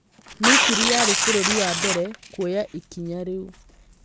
Misiri yarĩ bũrũri wa mbere kwoya ikinya rĩu